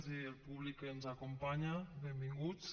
i al públic que ens acompanya benvinguts